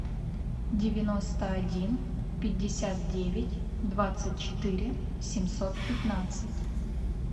девяносто один пятьдесят девять двадцать четыре семьсот пятнадцать